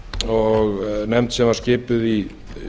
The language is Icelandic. og nefnd sem var skipuð í